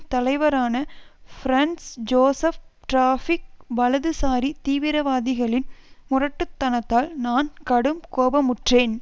தலைவரான Franz Joseph டிராபிக் வலதுசாரி தீவிரவாதிகளின் முரட்டுத்தனத்தால் நான் கடும் கோபமுற்றேன்